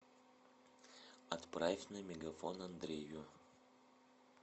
отправь на мегафон андрею